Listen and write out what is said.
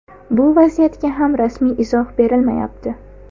Bu vaziyatga ham rasmiy izoh berilmayapti.